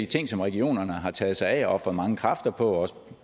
ting som regionerne har taget sig af og ofret mange kræfter på og også